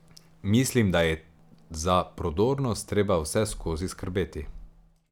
Mislim, da je za prodornost treba vseskozi skrbeti.